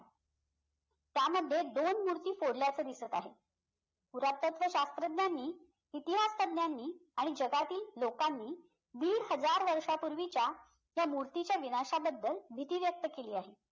त्यामध्ये दोन मूर्ती फोडल्याचं दिसत आहे पुरातत्व शास्त्रज्ञांनी इतिहासतज्ञांनी आणि जगातील लोकांनी दीड हझार वर्षापूर्वीच्या त्या मूर्तीच्या विनाशाबद्दल भीती व्यक्त केली आहे